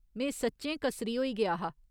में सच्चें कसरी होई गेआ हा।